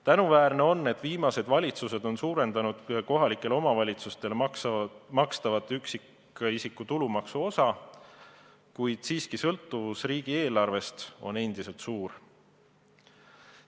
Tänuväärne on, et viimased valitsused on suurendanud kohalikele omavalitsustele makstavat üksikisiku tulumaksu osa, kuid sõltuvus riigieelarvest on endiselt suur.